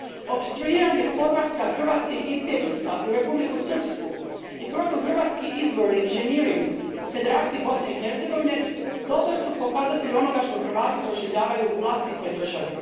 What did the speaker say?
Opstruiranje povratka hrvatskih izbjeglica u Republiku Srpsku i protuhrvatski izborni inženjering u Federaciji Bosne i Hercegovine dobar su pokazatelj onoga što Hrvati proživljavaju u vlastitoj državi.